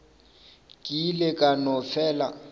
ke ile ka no fela